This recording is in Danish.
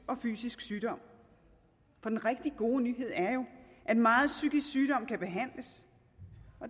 og fysisk sygdom for den rigtig gode nyhed er jo at megen psykisk sygdom kan behandles